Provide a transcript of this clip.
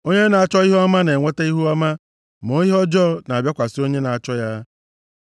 Onye na-achọ ihe ọma na-enweta ihuọma, ma ihe ọjọọ na-abịakwasị onye na-achọ ya.